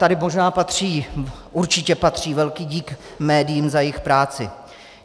Tady možná patří, určitě patří velký dík médiím za jejich práci.